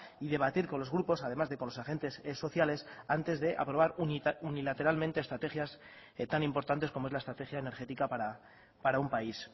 y debatir con los grupos además de con los agentes sociales antes de aprobar unilateralmente estrategias tan importantes como es la estrategia energética para un país